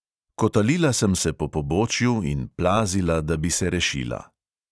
Kotalila sem se po pobočju in plazila, da bi se rešila.